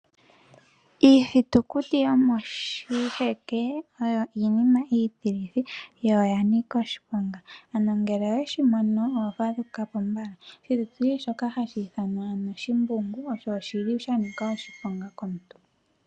Iithitukuti yomoshiheke oyo iinima iitikithi , yo oyanika oshiponga. Ano ngele weshimino oto vulu okufadhukapo . Oshithitukuti shoka hashi ithanwa shimbungu osho shili shanika oshiponga komuntu.